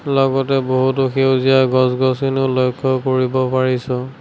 লগতে বহুতো সেউজীয়া গছ গছনিও লক্ষ্য কৰিব পাৰিছোঁ।